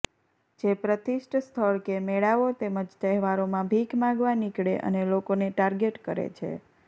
જે પ્રતિષ્ઠ સ્થળ કે મેળાઓ તેમજ તહેવારોમા ભીખ માંગવા નીકળે અને લોકોને ટાર્ગેટ કરે છે